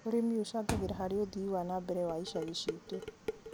ũrĩmi ũcangagĩra harĩ ũthii wa na mbere wa icagi ciitũ.